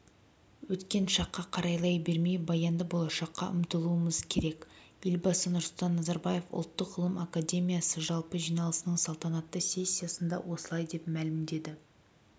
өткен шаққақарайлай бермей баянды болашаққа ұмтылуымыз керек елбасы нұрсұлтан назарбаев ұлттық ғылым академиясыжалпы жиналысының салтанатты сессиясында осылай деп мәлімдеді